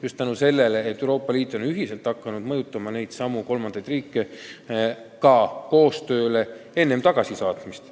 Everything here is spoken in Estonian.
Just tänu sellele, et Euroopa Liit on hakanud ühiselt mõjutama neidsamu kolmandaid riike tegema koostööd enne tagasisaatmist.